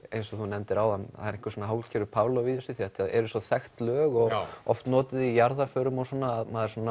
eins og þú nefndir áðan er svona hálfgerður Pavlov í þessu því þetta eru svo þekkt lög og oft notuð í jarðarförum og svona maður